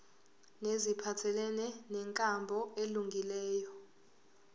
neziphathelene nenkambo elungileyo